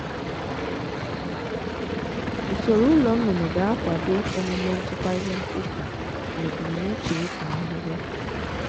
usoro ụlọ nnụnụ ga-akwado omume nchịkwa ihe mkpofu na ebumnuche ịkọ ahịhịa.